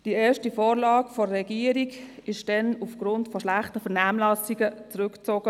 Die erste Vorlage der Regierung wurde damals aufgrund von schlechten Vernehmlassungen zurückgezogen.